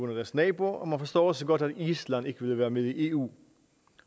deres nabo og man forstår også godt at island ikke vil være med i eu